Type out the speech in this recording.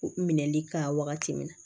Minɛli kan wagati min na